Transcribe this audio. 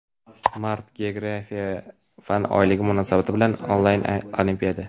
Mart - Geografiya fan oyligi munosabati bilan onlayn olimpiada!.